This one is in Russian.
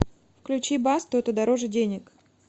включи басту это дороже денег